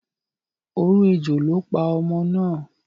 Oró ejò ló pa ọmọ náà.